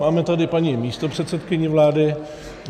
Máme tady paní místopředsedkyni vlády.